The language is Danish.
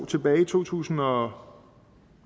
tilbage i to tusind og